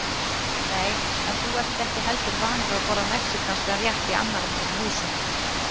Nei, en þú ert ekki heldur vanur að borða mexíkanskan rétt í annarra manna húsum